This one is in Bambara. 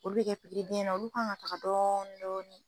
Olu bɛ kɛ pikiribiyɛn na olu kan ka taga dɔɔnn dɔɔni.